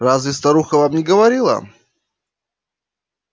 разве старуха вам не говорила